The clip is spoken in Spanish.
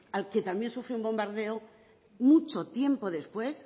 al que también sufrió un bombardeo mucho tiempo después